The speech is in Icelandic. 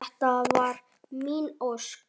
. þetta var mín ósk.